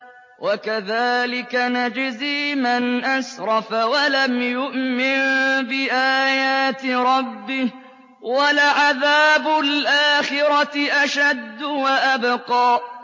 وَكَذَٰلِكَ نَجْزِي مَنْ أَسْرَفَ وَلَمْ يُؤْمِن بِآيَاتِ رَبِّهِ ۚ وَلَعَذَابُ الْآخِرَةِ أَشَدُّ وَأَبْقَىٰ